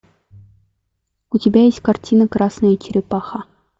у тебя есть картина красная черепаха